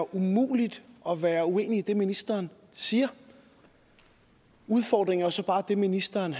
umuligt at være uenig i det ministeren siger udfordringen er jo så bare det ministeren